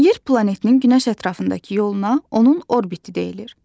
Yer planetinin günəş ətrafındakı yoluna onun orbiti deyilir.